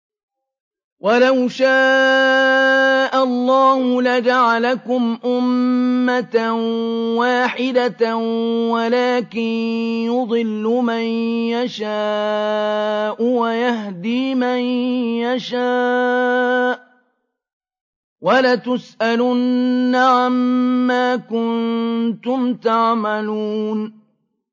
وَلَوْ شَاءَ اللَّهُ لَجَعَلَكُمْ أُمَّةً وَاحِدَةً وَلَٰكِن يُضِلُّ مَن يَشَاءُ وَيَهْدِي مَن يَشَاءُ ۚ وَلَتُسْأَلُنَّ عَمَّا كُنتُمْ تَعْمَلُونَ